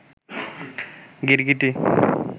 গিরগিটি